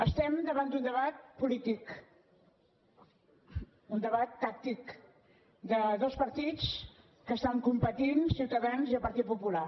estem davant d’un debat polític un debat tàctic de dos partits que estan competint ciutadans i el partit popular